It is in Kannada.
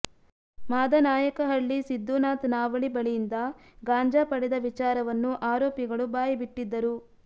ಮಾದನಾಯಕಹಳ್ಳಿ ಸಿದ್ದು ನಾತ್ ನಾವಳಿ ಬಳಿಯಿಂದ ಗಾಂಜಾ ಪಡೆದ ವಿಚಾರವನ್ನು ಆರೋಪಿಗಳು ಬಾಯಿಬಿಟ್ಟಿದ್ದರು